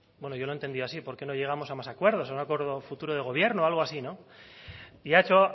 bueno yo lo he entendido así por qué no llegamos a más acuerdos a un acuerdo futuro de gobierno algo así no y ha hecho